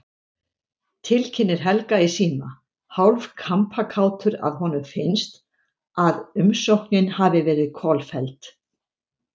Tilkynnir Helga í síma, hálf kampakátur að honum finnst, að umsóknin hafi verið kolfelld.